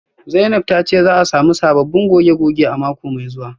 Zainab tace za'a samu sabbin goge-goge a mako mai zuwa